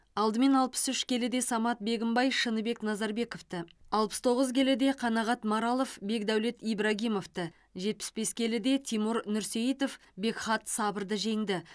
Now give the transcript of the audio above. алдымен алпыс үш келіде самат бегімбай шыныбек назарбековті алпыс тоғыз келіде қанағат маралов бекдәулет ибрагимовті жетпіс бес келіде тимур нұрсейітов бекхат сабырды жеңді